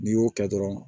N'i y'o kɛ dɔrɔn